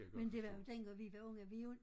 Men det var jo dengang vi var unge vi jo